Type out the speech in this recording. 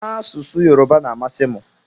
Asụsụ yoruba na amasi mu.